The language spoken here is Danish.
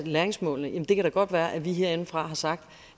læringsmålene det kan da godt være at vi herindefra har sagt